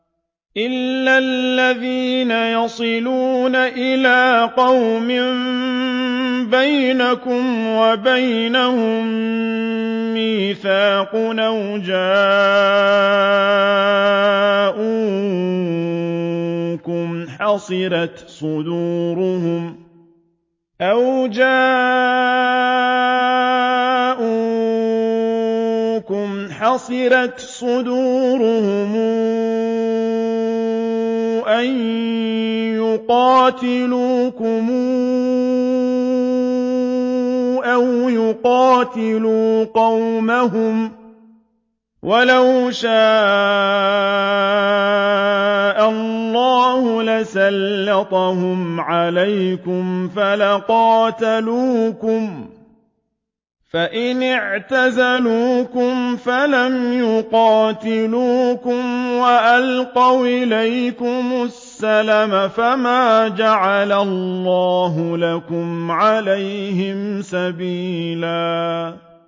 إِلَّا الَّذِينَ يَصِلُونَ إِلَىٰ قَوْمٍ بَيْنَكُمْ وَبَيْنَهُم مِّيثَاقٌ أَوْ جَاءُوكُمْ حَصِرَتْ صُدُورُهُمْ أَن يُقَاتِلُوكُمْ أَوْ يُقَاتِلُوا قَوْمَهُمْ ۚ وَلَوْ شَاءَ اللَّهُ لَسَلَّطَهُمْ عَلَيْكُمْ فَلَقَاتَلُوكُمْ ۚ فَإِنِ اعْتَزَلُوكُمْ فَلَمْ يُقَاتِلُوكُمْ وَأَلْقَوْا إِلَيْكُمُ السَّلَمَ فَمَا جَعَلَ اللَّهُ لَكُمْ عَلَيْهِمْ سَبِيلًا